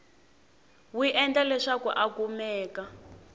wi endla leswaku a kumeka